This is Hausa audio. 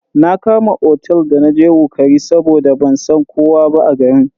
Na Kama otel da naje wukari saboda ban san kowa ba a garin.